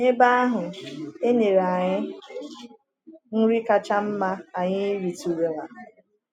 N’ebe ahụ, e nyere anyị nri kacha mma anyị rietụrụla.